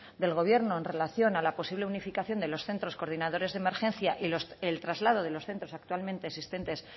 del gobierno en relación a la posible unificación de los centros coordinadores de emergencia y el traslado de los centros actualmente existentes